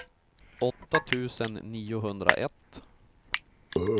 åtta tusen niohundraett